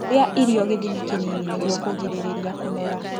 Rĩa irio gĩthimi kĩnini nĩguo kũgirĩrĩrĩa kũnora